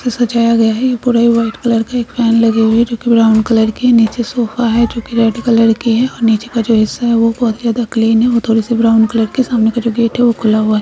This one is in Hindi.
ये सजाया गया है | ये पूरा ही व्हाइट कलर का | एक फैन लगे हुए हैं जो कि ब्रा कलर के हैं | नीचे सोफा है जो कि रेड कलर के हैं और नीचे का जो हिस्सा है वो बहोत ही ज्यादा क्लिन है वो थोड़े से ब्राउन कलर के | सामने का जो गेट है वो खुला हुआ--